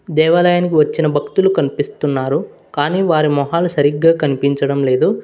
దేవాలయానికి వచ్చిన భక్తులు కల్పిస్తున్నారు కానీ వారి మొహాలు సరిగ్గా కనిపించడం లేదు.